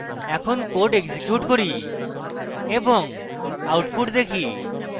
এখন code execute করি এবং output দেখি